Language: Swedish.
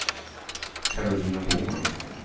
Karolina Boman